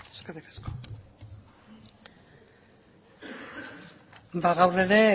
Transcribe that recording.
eskerrik asko gaur ere